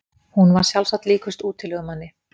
Hún var sjálfsagt líkust útilegumanni.